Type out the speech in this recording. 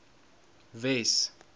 wes